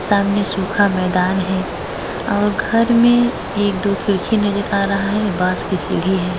सामने सूखा मैदान है और घर में एक दो खिड़की नजर आ रहा है बांस की सीढ़ी है।